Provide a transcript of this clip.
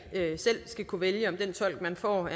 selv skal kunne vælge om den tolk man får